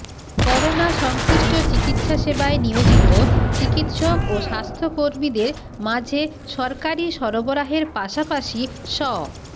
corona সংশ্লিষ্ট চিকিৎসা সেবায় নিয়োজিত চিকিৎসক ও স্বাস্থ্যকর্মীদের মাঝে সরকারি সরবরাহের পাশাপাশি স